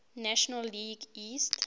national league east